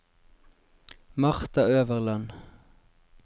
Marta Øverland